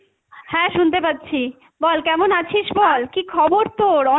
হ্যাঁ শুনতে পাচ্ছি, বল কেমন আছিস বল, কী খবর তোর?